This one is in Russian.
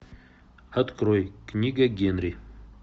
открой книга генри